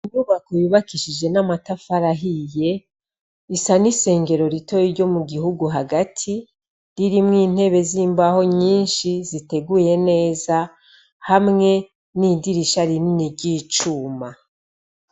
Inyubako yubakishije n'amatafari ahiye isa n'isengero ritoya ryo mu gihugu hagati ririmwo intebe zimbaho nyishi ziteguye neza hamwe n'idirisha rinini ry'icuma.